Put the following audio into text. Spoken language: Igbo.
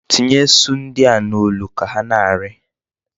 Tinye esu ndi a n'olu ka ha na-ari.